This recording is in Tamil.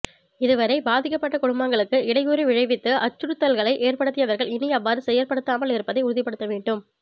இதுவரை பாதிக்கப்பட்ட குடும்பங்களுக்கு இடையூறு விழைவித்து அச்சுறுத்தல்களை ஏற்படுத்தியவர்கள் இனிஅவ்வாறு செயற்படுத்தாமல் இருப்பதை உறுதிப்படுத்தவேண்டும்